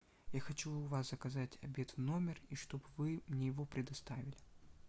я хочу у вас заказать обед в номер и чтоб вы мне его предоставили